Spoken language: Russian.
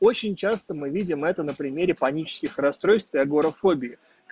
очень часто мы видим это на примере панических расстройств и агорафобия